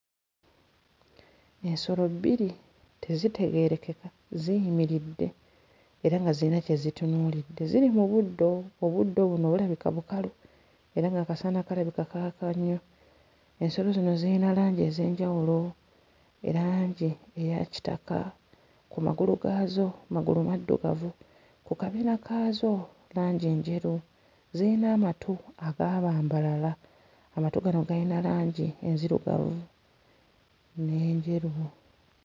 Ensolo bbiri tezitegeerekeka ziyimiridde era nga ziyina kye zitunuulidde. Ziri mu buddo; obuddo buno bulabika bukalu era ng'akasana kalabika kaaka nnyo. Ensolo zino zirina langi ez'enjawulo; langi eya kitaka ku magulu gaazo amagulu maddugavu, ku kabina kaazo langi njeru. Zirina amatu agaabambalala; amatu gano gayina langi enzirugavu n'enjeru.